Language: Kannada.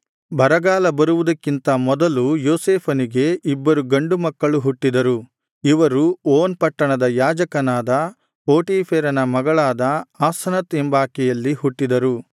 ಬರಗಾಲ ಬರುವುದಕ್ಕಿಂತ ಮೊದಲು ಯೋಸೇಫನಿಗೆ ಇಬ್ಬರು ಗಂಡು ಮಕ್ಕಳು ಹುಟ್ಟಿದರು ಇವರು ಓನ್ ಪಟ್ಟಣದ ಯಾಜಕನಾದ ಪೋಟೀಫೆರನ ಮಗಳಾದ ಆಸನತ್ ಎಂಬಾಕೆಯಲ್ಲಿ ಹುಟ್ಟಿದರು